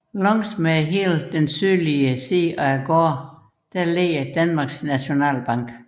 Langs hele den sydlige side af gaden ligger Danmarks Nationalbank